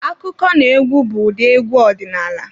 Akụkọnaegwu bụ ụdị egwu ọdinaala.